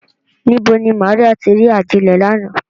Nibo ni Maria ti ri ajilẹ lánà?